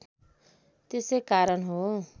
त्यसै कारण हो